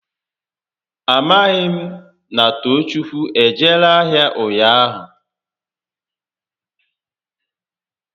A maghị m na Toochukwu ejere ahịa ụnyaahụ